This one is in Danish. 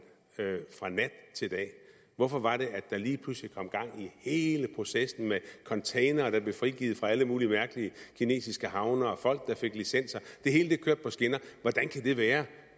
fra nat til dag hvorfor var det at der lige pludselig kom gang i hele processen med containere der blev frigivet fra alle mulige mærkelige kinesiske havne og folk der fik licenser det hele kørte på skinner hvordan kan det være